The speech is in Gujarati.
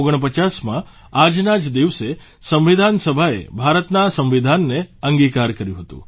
1949માં આજના જ દિવસે સંવિધાન સભાએ ભારતના સંવિધાનને અંગીકાર કર્યું હતું